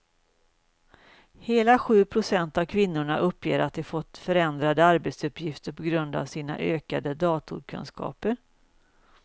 Hela sju procent av kvinnorna uppger att de fått förändrade arbetsuppgifter på grund av sina ökade datorkunskaper.